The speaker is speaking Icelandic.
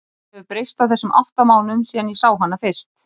Hún hefur breyst á þessum átta mánuðum síðan ég sá hana fyrst.